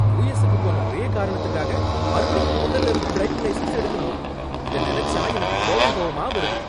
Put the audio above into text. யுஎஸ்க்கு போன ஒரே காரணத்துக்காக மறுபடியும் மொதல்ல இருந்து டிரைவிங் லைசென்ஸ் எடுக்கணுமா இத நினைச்சா எனக்கு கோவம் கோவமா வருது.